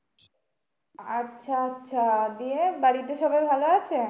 আচ্ছা আচ্ছা দিয়ে বাড়িতে সবাই ভালো আছে?